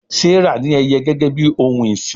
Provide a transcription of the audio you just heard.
Serah ní Ẹyẹ gégé bí òún ìsìn.